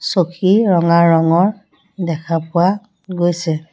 চকী ৰঙা ৰঙৰ দেখা পোৱা গৈছে।